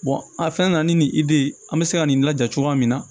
a fɛn nana ni nin de ye an bɛ se ka nin laja cogoya min na